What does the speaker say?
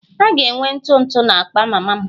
A ga-enwe ntụ ntụ na akpa mama m